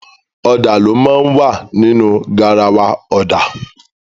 Ọ̀dà ló máa ń wà nínu garawa ọ̀dà.